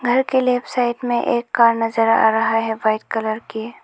घर के left side में एक कार नजर आ रहा है वाइट कलर की।